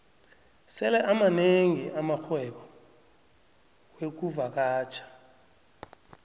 sele amanengi amarhwebo wexkuvakatjha